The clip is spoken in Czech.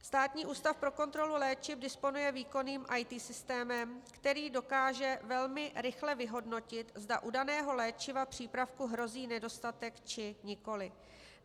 Státní ústav pro kontrolu léčiv disponuje výkonným IT systémem, který dokáže velmi rychle vyhodnotit, zda u daného léčivého přípravku hrozí nedostatek, či nikoliv.